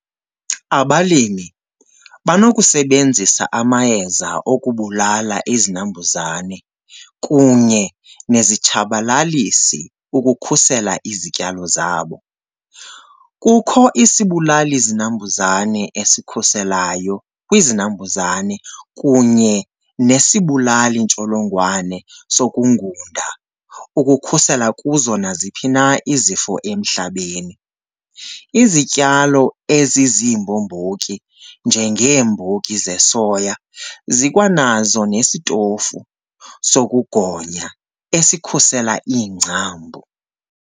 Abalimi banokusebenzisa amayeza okubulala izinambuzane kunye nezitshabalalisi ukukhusela izityalo zabo. Kukho isibulali zinambuzane esikhuselayo kwizinambuzane kunye nesibulali ntsholongwane sokungunda ukukhusela kuzo naziphi na izifo emhlabeni. Izityalo eziziimbombotyi, njengeembotyi zesoya, zikwanazo nesitofu sokugonya esikhusela iingcambu.